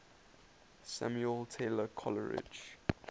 samuel taylor coleridge